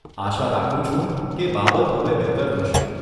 આશા રાખું છું કે બાબત હવે બહેતર થશે.